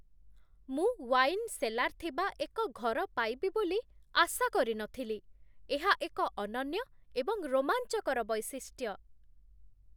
ମୁଁ wine cellar ଥିବା ଏକ ଘର ପାଇବି ବୋଲି ଆଶା କରିନଥିଲି, ଏହା ଏକ ଅନନ୍ୟ ଏବଂ ରୋମାଞ୍ଚକର ବୈଶିଷ୍ଟ୍ୟ।